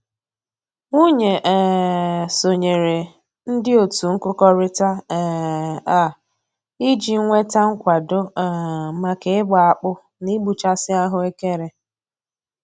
Nwunye um sonyere ndị otu nkụkọrịta um a iji nweta nkwado um maka ịgba akpụ na ịgbụchasị ahụekere